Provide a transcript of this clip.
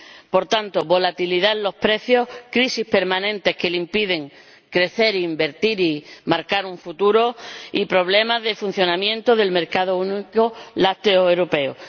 Por tanto, destaco la volatilidad de los precios, las crisis permanentes que les impiden crecer, invertir y marcar un futuro y los problemas de funcionamiento del mercado único lácteo europeo.